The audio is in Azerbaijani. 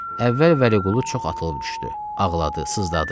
Əvvəl Vəliqulu çox atılıb düşdü, ağladı, sızdadı.